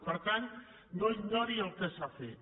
per tant no ignori el que s’ha fet